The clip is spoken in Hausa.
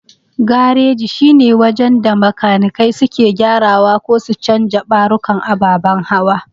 Gareji shine wajen da makanikai suke gyarawa ko su canja ɓarukan ababan hawa.